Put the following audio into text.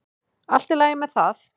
Allt í lagi með það.